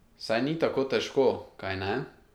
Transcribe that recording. Saj ni tako težko, kajne?